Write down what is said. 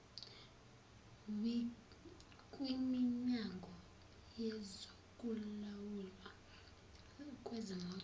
kwiminyango yezokulawulwa kwezimoto